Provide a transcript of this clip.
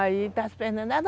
Aí está esperando.